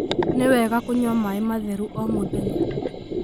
Nĩ wega kũnyua maĩ matheru o mũthenya.